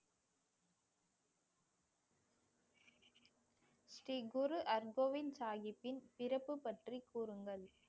ஸ்ரீ குரு ஹர்கோபிந்த் சாஹிப்பின் சிறப்பு பற்றி கூறுங்கள்